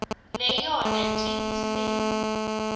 neyona ntsi ngiselo